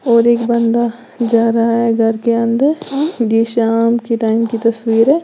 और एक बंदा जा रहा है घर के अंदर शाम की टाइम की तस्वीर है।